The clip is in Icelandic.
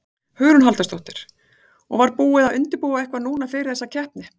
Hugrún Halldórsdóttir: Og var búið að undirbúa eitthvað núna fyrir þessa keppni?